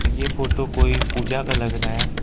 ये फोटो कोई पूजा का लग रहा है।